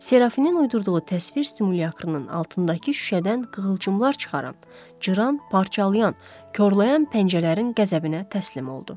Serafinin uydurduğu təsvir simulyakrının altındakı şüşədən qığılcımlar çıxaran, cıran, parçalayan, korlayan pəncələrin qəzəbinə təslim oldu.